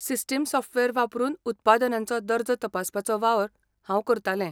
System software वापरून उत्पादनांचो दर्जो तपासपाचो वावर हांव करतालें.